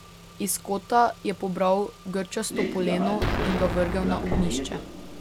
Iz kota je pobral grčasto poleno in ga vrgel na ognjišče.